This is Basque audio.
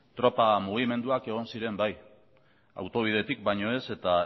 tropa mugimenduak egon ziren bai autobidetik baino ez eta